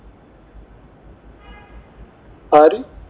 ആര്?